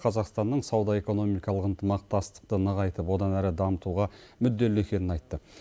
қазақстанның сауда экономикалық ынтымақтастықты нығайтып одан әрі дамытуға мүдделі екенін айтты